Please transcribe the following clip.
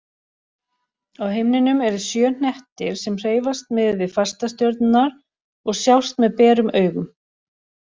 Á himninum eru sjö hnettir sem hreyfast miðað við fastastjörnurnar og sjást með berum augum.